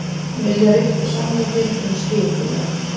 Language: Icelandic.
Vilja rifta samningum um skipulag